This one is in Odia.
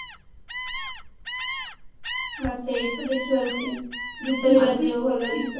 ବାସ୍ ସେଇତ ଦେଖିବାର seen ଗୀତ ବି ବାଜିବ ଭଲ ଗୀତ